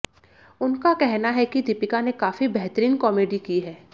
उनका कहना है कि दीपिका ने काफी बेहतरीन कॉमेडी की है